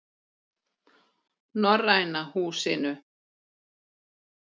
Norræna Húsinu